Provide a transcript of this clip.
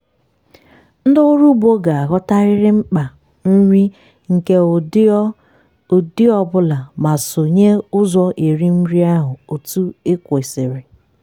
ndị ọrụ ugbo ga-aghọtarịrị mkpa nri nke ụdị ọ ụdị ọ bụla ma sonye ụzọ erim nri ahụ etu o kwesiri.